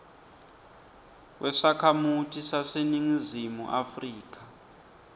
wesakhamuti saseningizimu afrika